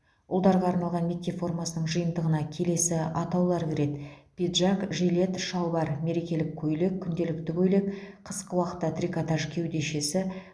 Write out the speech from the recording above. ұлдарға арналған мектеп формасының жиынтығына келесі атаулар кіреді пиджак жилет шалбар мерекелік көйлек күнделікті көйлек қысқы уақытта трикотаж кеудешесі